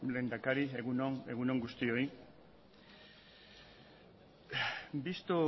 lehendakari egun on egun on guztioi visto